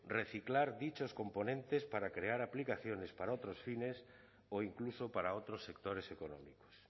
reciclar dichos componentes para crear aplicaciones para otros fines o incluso para otros sectores económicos